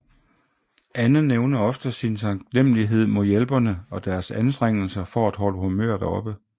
Anne nævner ofte sin taknemlighed mod hjælperne og deres anstrengelser for at holde humøret oppe